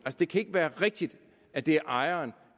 det kan ikke være rigtigt at det er ejeren